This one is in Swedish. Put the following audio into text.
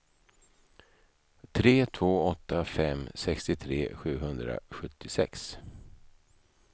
tre två åtta fem sextiotre sjuhundrasjuttiosex